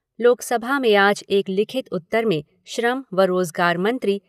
लोकसभा में आज एक लिखित उत्तर में श्रम व रोज़गार मंत्री